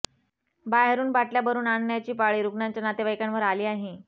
बाहेरून बाटल्या भरून पाणी आणण्याची पाळी रुग्णांच्या नातेवाईकांवर आली आहे